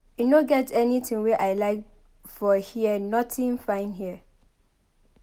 E no get anything wey I like for here nothing fine here.